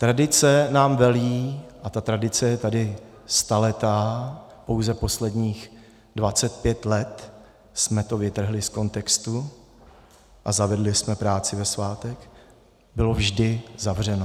Tradice nám velí, a ta tradice je tady staletá, pouze posledních 25 let jsme to vytrhli z kontextu a zavedli jsme práci ve svátek - bylo vždy zavřeno.